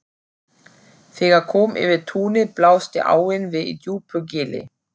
Þegar kom yfir túnið blasti áin við í djúpu gili.